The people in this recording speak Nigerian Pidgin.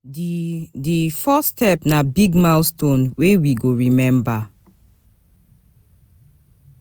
Di Di first step na big milestone wey we go remember.